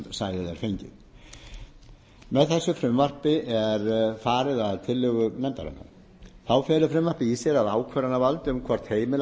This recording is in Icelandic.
sæðið er fengið meðþessu frumvarpi þessu er farið að tillögu nefndarinnar þá felur frumvarpið í sér að ákvörðunarvald um hvort heimila